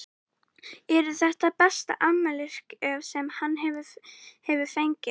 Eru þetta besta afmælisgjöf sem hann hefur fengið?